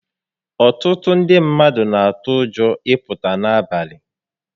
Ọtụtụ ndị mmadụ n'atụ ụjọ ị pụta n'abalị